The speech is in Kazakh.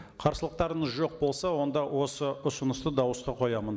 қарсылықтарыңыз жоқ болса онда осы ұсынысты дауысқа қоямын